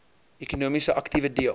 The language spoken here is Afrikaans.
ekonomiese aktiewe deel